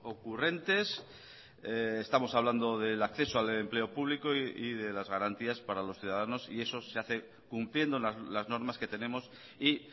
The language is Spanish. ocurrentes estamos hablando del acceso al empleo público y de las garantías para los ciudadanos y eso se hace cumpliendo las normas que tenemos y